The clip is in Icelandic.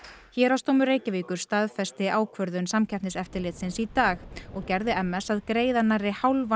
héraðsdómur Reykjavíkur staðfesti ákvörðun Samkeppniseftirlitsins í dag og gerði m s að greiða nærri hálfan